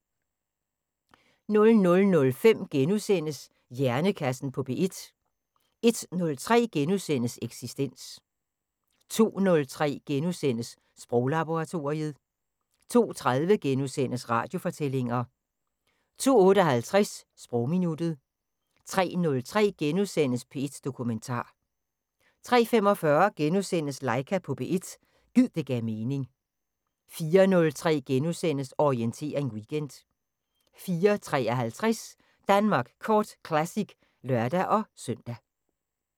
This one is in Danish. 00:05: Hjernekassen på P1 * 01:03: Eksistens * 02:03: Sproglaboratoriet * 02:30: Radiofortællinger * 02:58: Sprogminuttet 03:03: P1 Dokumentar * 03:45: Laika på P1 – gid det gav mening * 04:03: Orientering Weekend * 04:53: Danmark Kort Classic (lør-søn)